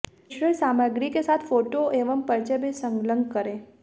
प्रेषित सामग्री के साथ फोटो एवं परिचय भी संलग्न करें